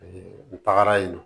n tagara yen nɔ